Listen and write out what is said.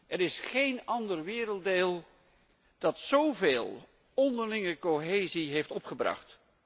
Er is geen ander werelddeel dat zo veel onderlinge cohesie heeft opgebracht.